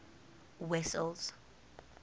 wessels